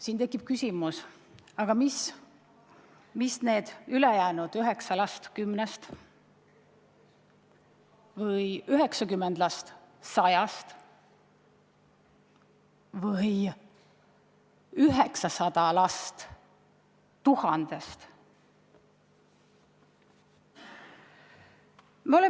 Siin tekib küsimus, mida siis need ülejäänud 9 last 10-st või 90 last 100-st või 900 last 1000-st teevad.